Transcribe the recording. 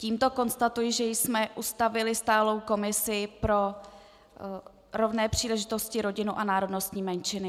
Tímto konstatuji, že jsme ustavili stálou komisi pro rovné příležitosti, rodinu a národnostní menšiny.